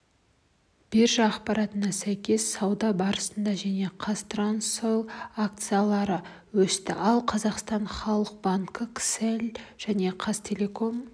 биржа ақпаратына сәйкес сауда барысында және қазтрансойл акциялары өсті ал қазақстан халық банкі кселл және қазақтелеком